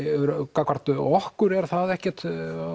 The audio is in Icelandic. gagnvart okkur er það ekkert